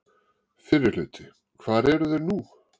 Fyrri hluti Hvar eru þeir nú?